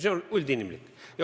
See on üldinimlik.